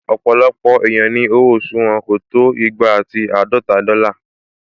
Ọ̀pọ̀lọpọ̀ èèyàn ni owó oṣù wọn kò tó igba ati àádọta dọ́là